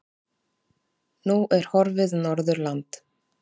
Nú er horfið Norðurland.